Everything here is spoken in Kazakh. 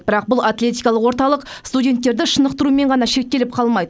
бірақ бұл атлетикалық орталық студенттерді шынықтырумен ғана шектеліп қалмайды